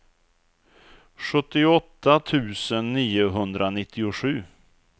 sjuttioåtta tusen niohundranittiosju